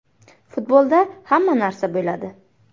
Futbolda hamma narsa bo‘ladi.